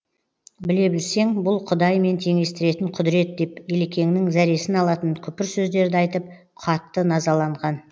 біле білсең бұл құдаймен теңестіретін құдірет деп елекеңнің зәресін алатын күпір сөздерді айтып қатты назаланған